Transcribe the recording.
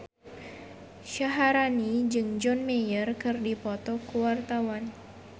Syaharani jeung John Mayer keur dipoto ku wartawan